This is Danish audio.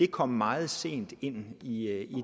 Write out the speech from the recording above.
kom meget sent ind i i